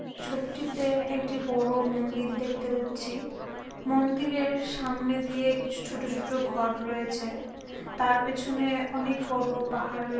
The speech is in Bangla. ছবিটিতে একটি বড় মন্দির দেখতে পাচ্ছি। মন্দিরের সামনে দিয়ে কিছু ছোট ছোট ঘর রয়েছে তার পিছনে অনেক বড় পাহাড় রয়ে--